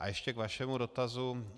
A ještě k vašemu dotazu.